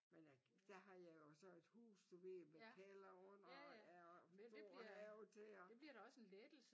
Men øh der har jeg jo så et hus du ved med kælder under ja og stor have til og